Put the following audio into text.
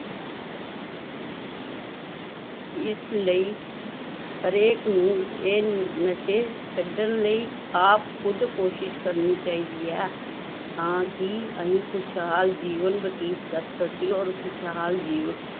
ਇਸ ਲਈ ਹਰੇਕ ਨੂੰ ਇਹ ਨਸ਼ੇ ਛੱਡਣ ਲਈ ਆਪ ਖੁੱਦ ਕੋਸ਼ਿਸ਼ ਕਰਨੀ ਚਾਹੀਦੀ ਹੈ ਤਾਂ ਕਿ ਅਸੀਂ ਖ਼ੁਸ਼ਹਾਲ ਜੀਵਨ ਬਤੀਤ ਕਰ ਸਕੀਏ ਔਰ ਖ਼ੁਸ਼ਹਾਲ ਜੀਵ